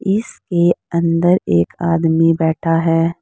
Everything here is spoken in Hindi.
इसके अंदर एक आदमी बैठा है।